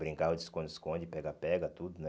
Brincava de esconde-esconde, pega-pega, tudo, né?